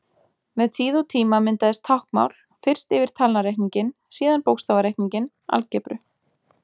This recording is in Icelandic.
Með tíð og tíma myndaðist táknmál, fyrst yfir talnareikninginn, síðan bókstafareikninginn, algebru.